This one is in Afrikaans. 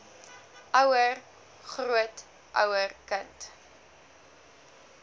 ouer grootouer kind